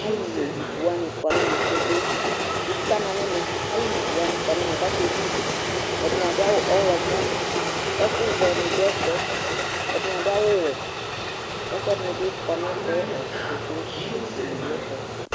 alu me ivu wʋani kɔ nu ɛmɛ kpekpekpe, ivu kana nɛmɛ , alu me ivu wʋani kɔ nu ɛmɛ kake me ivu, ɛdini adu awu ɔwlɔmɔ, ɛku vɛ ni du ɛfuɛ, ɛdini adu awu wɛ ku ɛku ɛdini bi kɔ nu ɛfuɛ ɔbu kpekpe , utu ni du ɛfuɛ